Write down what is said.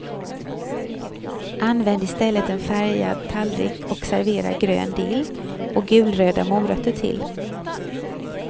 Använd i stället en färgad tallrik och servera grön dill och gulröda morötter till.